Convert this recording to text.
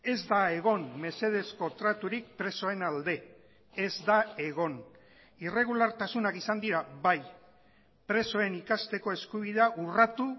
ez da egon mesedezko traturik presoen alde ez da egon irregulartasunak izan dira bai presoen ikasteko eskubidea urratu